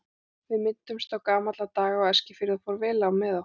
Við minntumst gamalla daga á Eskifirði og fór vel á með okkur.